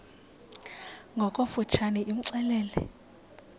ngokofu tshane imxelele